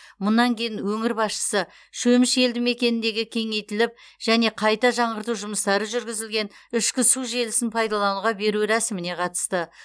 мұнан кейін өңір басшысы шөміш елді мекеніндегі кеңейтіліп және қайта жаңғырту жұмыстары жүргізілген ішкі су желісін пайдалануға беру рәсіміне қатысты